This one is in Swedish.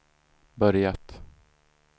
börjat